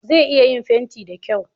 Zai iya yin fenti da kyau